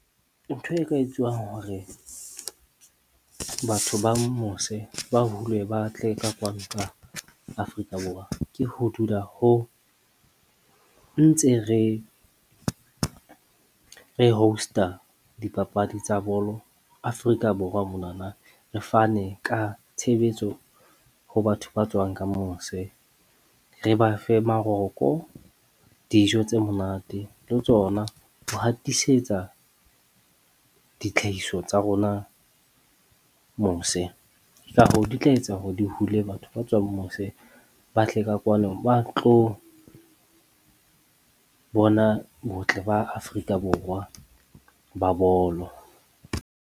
Ntho e ka etsuwang hore batho ba mose ba hulwe ba tle ka kwano ka Afrika Borwa, ke ho dula ho ntse re re host-a a dipapadi tsa bolo Afrika Borwa monwana. Re fane ka tshebetso ho batho ba tswang ka mose. Re ba fe maroko, dijo tse monate le tsona ho hatisetsa ditlhahiso tsa rona mose, ka hoo, di tla etsa hore di hule batho ba tswang mose ba tle ka kwano, ba tlo bona botle ba Afrika Borwa ba bolo.